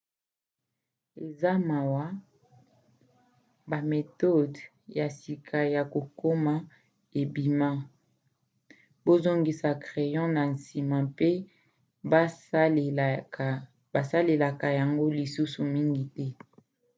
eza mawa bametode ya sika ya kokoma ebima bazongisa crayon na nsima mpe basalelaka yango lisusu mingi te